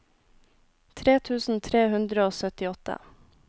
tre tusen tre hundre og syttiåtte